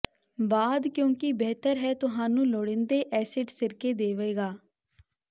ਬਾਅਦ ਕਿਉਕਿ ਬਿਹਤਰ ਹੈ ਤੁਹਾਨੂੰ ਲੋੜੀਦੇ ਐਸਿਡ ਸਿਰਕੇ ਦੇਵੇਗਾ